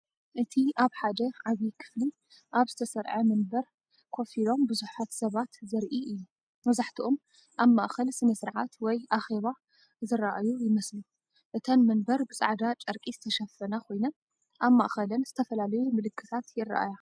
እቲ ኣብ ሓደ ዓቢ ክፍሊ ኣብ ዝተሰርዐ መንበር ኮፍ ኢሎም ብዙሓት ሰባት ዘርኢ እዩ። መብዛሕትኦም ኣብ ማእከል ስነ-ስርዓት ወይ ኣኼባ ዝረኣዩ ይመስሉ። እተን መንበር ብጻዕዳ ጨርቂ ዝተሸፈና ኮይነን ኣብ ማእከለን ዝተፈላለዩ ምልክታት ይረኣያ።